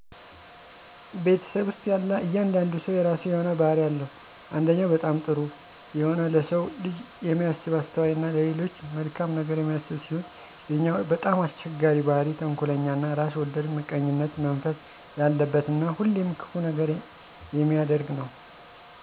ቤተሰብ ውስጥ ያለ እያንዳንዱ ሰው የረሱ የሆነ ባህሪ አለው አንደኛው በጣም ጥሩ የሆነ ለሰው ልጅ የሚያስብ አስተዋይ እና ለሌሎች መልካም ነገር የሚያስብ ሲሆን ሌለኛው በጣም አስቸጋሪ ባህሪ ተንኮለኛ እና ራስ ወዳድ ምቀኝነት መንፈስ የለበት እና ሁሌም ክፉ ነገር የሚያደርግ ነው